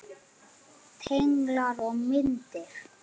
Tenglar og myndir